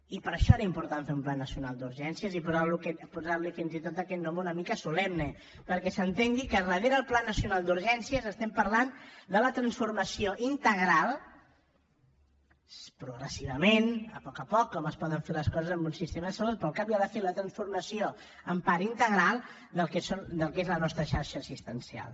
i per això era important fer un pla nacional d’urgències i posar li fins i tot aquest nom una mica solemne perquè s’entengui que darrere el pla nacional d’urgències estem parlant de la transformació integral progressivament a poc a poc com es poden fer les coses en un sistema de salut però al cap i a la fi la transformació en part integral del que és la nostra xarxa assistencial